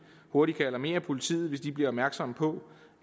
hurtigt kan alarmere politiet hvis de bliver opmærksomme på